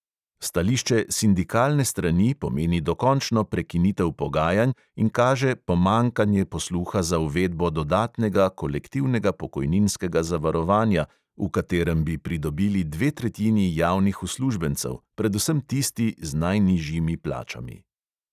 Stališče sindikalne strani pomeni dokončno prekinitev pogajanj in kaže pomanjkanje posluha za uvedbo dodatnega kolektivnega pokojninskega zavarovanja, v katerem bi pridobili dve tretjini javnih uslužbencev, predvsem tisti z najnižjimi plačami.